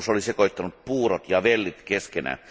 Sopimus oli sekoittanut puurot ja vellit keskenään.